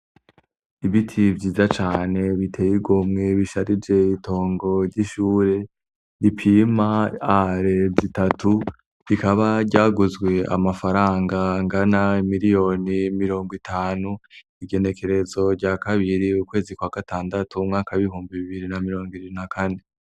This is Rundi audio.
Ibiti vyiza cane biteye igomwe bisharije itongo ry'ishure gipima are zitatu bikaba ryaguzwe amafaranga ngana miliyoni mirongo itanu igenekerezo rya kabiri ukwezi kwa gatandatu umwaka bihumba bibiri na mirongo iririna, kandi.